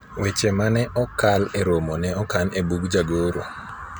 weche mane okal e romo ne okan e bug jagoro